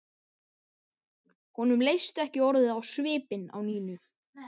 Honum leist ekki orðið á svipinn á Nínu.